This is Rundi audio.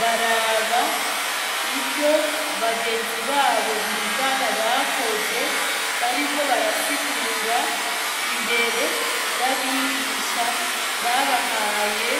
baraba ivyo bagenzi babo bigana bakoze bariko barasigura imbere y'abigisha babahaye